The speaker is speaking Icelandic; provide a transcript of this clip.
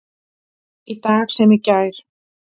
Í dag sem í gær.